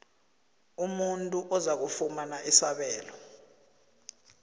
umuntu ozakufumana isabelo